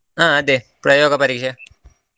ಹಾ ಅದೇ ಪ್ರಯೋಗ ಪರೀಕ್ಷೆ .